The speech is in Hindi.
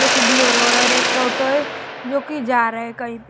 जो कि बोलरो है और एक ऑटो है जो कि जा रहा है कहीं पे--